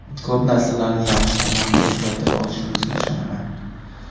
Ko‘p narsalarni yaxshi tomonga o‘zgartira olishimizga ishonaman.